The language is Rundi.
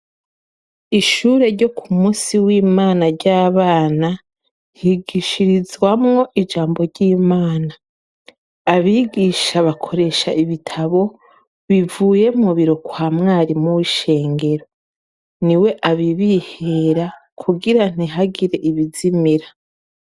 Ishure ryo ku musi w'imana ry'abana nhigishirizwamwo ijambo ry'imana abigisha bakoresha ibitabo bivuye mubiro kwa mwarimu w'ishengero ni we abibihera kugira ntihagire ibizimira.